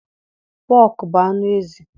Pọk bu anụ ezi